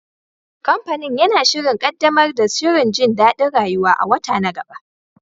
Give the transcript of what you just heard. Kamfanin yana shirin ƙaddamar da shirin jin daɗin rayuwa a wata na gaba.